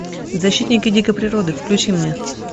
защитники дикой природы включи мне